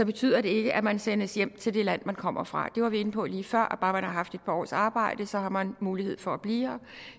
betyder det ikke at man sendes hjem til det land man kommer fra det var vi inde på lige før og bare man har haft et par års arbejde har man mulighed for at blive her